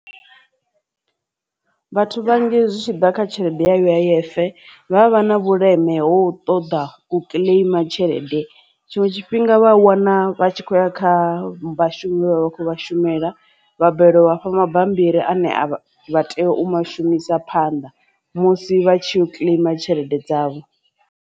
Vhathu vhanzhi zwi tshi ḓa kha tshelede ya U_I_F vha vha na vhuleme ho ṱoḓa u claim tshelede tshiṅwe tshifhinga vha wana vha tshi kho khoya kha vhashumi vhe vha vha khou vha shumela wo hafha mabambiri a ne a vha tea u shumisa phanḓa musi vha tshi ya kileima tshelede dzavho.